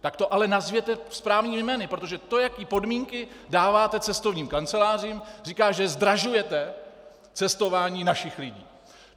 Tak to ale nazvěte správnými jmény, protože to, jaké podmínky dáváte cestovním kancelářím, říká, že zdražujete cestování našich lidí.